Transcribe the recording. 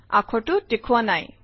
আখৰটো দেখুওৱা নাই